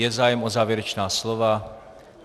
Je zájem o závěrečná slova?